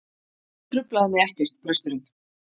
Hann truflaði mig ekkert, presturinn.